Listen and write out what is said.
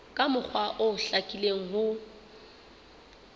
ka mokgwa o hlakileng ho